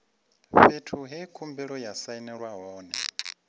fhethu he khumbelo ya sainelwa hone